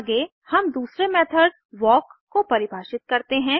आगे हम दूसरे मेथड वाल्क को परिभाषित करते हैं